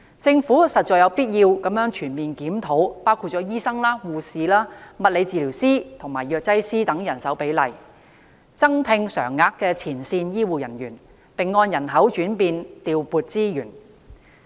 政府實在有必要全面檢討包括醫生、護士、物理治療師及藥劑師等人手的比例、增聘常額前線醫護人員，並按人口轉變調撥資源。